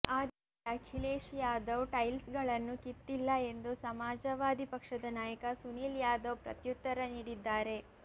ಆದರೆ ಅಖಿಲೇಶ್ ಯಾದವ್ ಟೈಲ್ಸ್ ಗಳನ್ನು ಕಿತ್ತಿಲ್ಲ ಎಂದು ಸಮಾಜವಾದಿ ಪಕ್ಷದ ನಾಯಕ ಸುನಿಲ್ ಯಾದವ್ ಪ್ರತ್ಯುತ್ತರ ನೀಡಿದ್ದಾರೆ